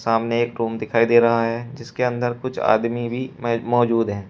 सामने एक रूम दिखाई दे रहा है जिसके अन्दर कुछ आदमी भी मौजूद हैं।